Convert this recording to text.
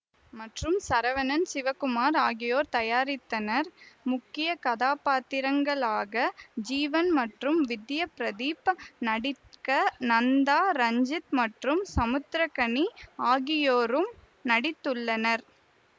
மற்றும் சரவணன் சிவகுமார் ஆகியோர் தயாரித்தனர் முக்கிய கதாப்பாத்திரங்களாக ஜீவன் மற்றும் வித்யா பிரதீப் நடிக்க நந்தா ரஞ்சித் மற்றும் சமுத்திரகாணி ஆகியோரும் நடித்துள்ளனர்